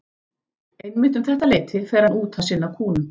Einmitt um þetta leyti fer hann út að sinna kúnum.